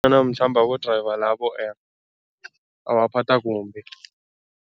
Abo-driver labo babaphatha kumbi.